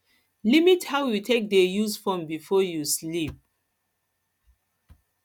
limit how you take dey use phone before you sleep